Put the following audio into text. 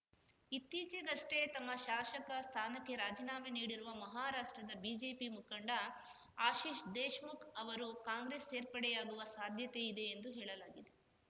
ಇತ್ತೀಚೆಗಷ್ಟೇ ತಮ್ಮ ಶಾಸಕ ಸ್ಥಾನಕ್ಕೆ ರಾಜೀನಾಮೆ ನೀಡಿರುವ ಮಹಾರಾಷ್ಟ್ರದ ಬಿಜೆಪಿ ಮುಖಂಡ ಆಶೀಶ್‌ ದೇಶ್‌ಮುಖ್‌ ಅವರು ಕಾಂಗ್ರೆಸ್‌ ಸೇರ್ಪಡೆಯಾಗುವ ಸಾಧ್ಯತೆಯಿದೆ ಎಂದು ಹೇಳಲಾಗಿದೆ